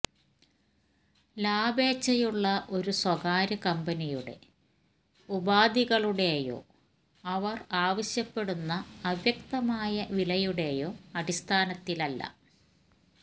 ലാഭേച്ഛയുള്ള ഒരു സ്വകാര്യ കമ്പനിയുടെ ഉപാധികളുടെയോ അവര് ആവശ്യപ്പെടുന്ന അവ്യക്തമായ വിലയുടെയോ അടിസ്ഥാനത്തിലല്ല